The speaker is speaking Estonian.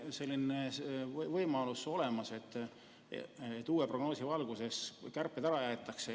Kas on üldse olemas võimalus, et uue prognoosi valguses kärped ära jäetakse?